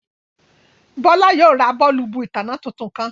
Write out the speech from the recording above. Bọ̀lá yóò rá bọ̀ọ̀lùbù itánná tuntun kan.